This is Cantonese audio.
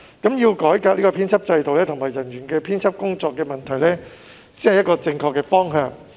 因此，改革編輯制度和製作人員的編輯工作，才是正確的方向。